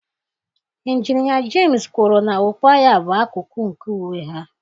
Injinia James kwuru na okpu agha bụ akụkụ nke uwe ha.